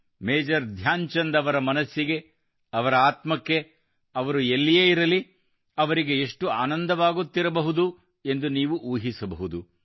major Dhyan Chand ಅವರ ಮನಸ್ಸಿಗೆ ಅವರ ಆತ್ಮಕ್ಕೆ ಅವರು ಎಲ್ಲಿಯೇ ಇರಲಿ ಅವರಿಗೆ ಎಷ್ಟು ಆನಂದವಾಗುತ್ತಿದೆಯೋ ಎಂದು ನೀವು ಊಹಿಸಬಹುದು